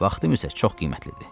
Vaxtım isə çox qiymətlidir.